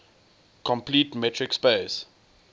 complete metric space